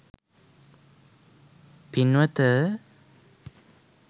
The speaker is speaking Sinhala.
පින්වත,